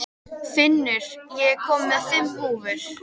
Finnur, ég kom með fimm húfur!